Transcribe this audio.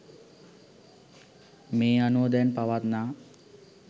මේ අනුව දැන් පවත්නා